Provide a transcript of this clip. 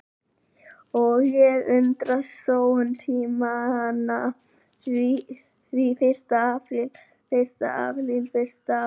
Og ég undrast sóun tímanna frá því fyrsta apríl fyrsta apríl fyrsta apríl.